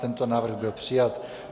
Tento návrh byl přijat.